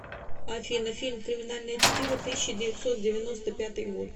афина фильм криминальное чтиво тысяча девятьсот девяносто пятый год